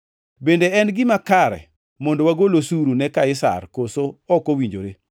Bende en gima kare mondo wagol osuru ne Kaisar koso ok owinjore?”